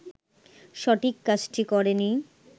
সঠিক কাজটি করেনি